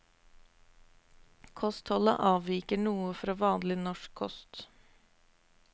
Kostholdet avviker noe fra vanlig norsk kost.